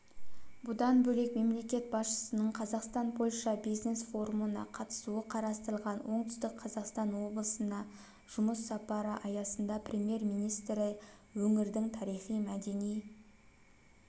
бұдан бөлек мемлекет басшысының қазақстан-польша бизнес-форумына қатысуы қарастырылған оңтүстік қазақстан облысына жұмыс сапары аясында премьер-министрі өңірдіңтарихи-мәдени